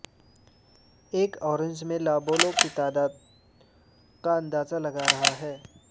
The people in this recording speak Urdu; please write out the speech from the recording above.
ایک اورنج میں لابولوں کی تعداد کا اندازہ لگا رہا ہے